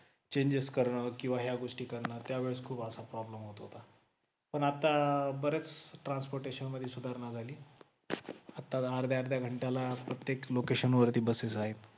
changes करन किंवा ह्या गोष्टी करन त्यावेळेस खूप असा problem होत होत पण आता बरेच transportation मध्ये सुधारणा झाली आता अर्ध्या अर्ध्या घंटाला प्रत्येक location वरती बसेस आहेत